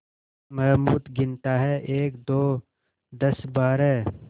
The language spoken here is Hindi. महमूद गिनता है एकदो दसबारह